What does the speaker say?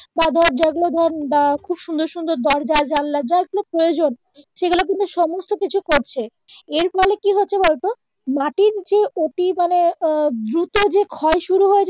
বা ধর যেগুলো ধর বা খুব সুন্দর সুন্দর দরজা জানালা যার যেগুলো প্রয়োজন সেগুলো কিন্তু সমস্ত কিছু করছে এর ফলে কি হচ্ছে বলোতো মাটির নিচে অতি মানে আহ দ্রুত যে ক্ষয় শুরু হয়েছে